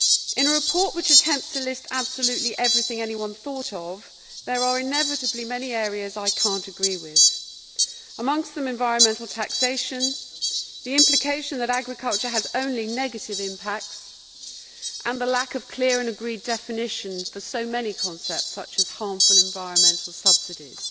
In a report which attempts to list absolutely everything anyone thought of, there are inevitably many areas I cannot agree with, amongst them environmental taxation, the implication that agriculture has only negative impacts, and the lack of clear and agreed definitions for so many concepts such as harmful environmental subsidies.